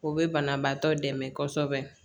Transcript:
O be banabaatɔ dɛmɛ kosɛbɛ